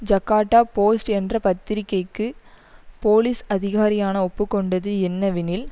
Jakarta Post என்ற பத்திரிகைக்கு police அதிகாரியான ஒப்பு கொண்டது என்னவெனில்